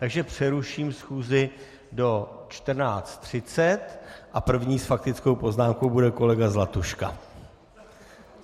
Takže přeruším schůzi do 14.30 a první s faktickou poznámkou bude kolega Zlatuška.